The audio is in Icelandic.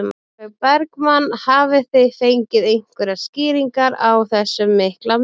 Sólveig Bergmann: Hafið þið fengið einhverjar skýringar á þessum mikla mun?